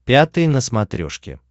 пятый на смотрешке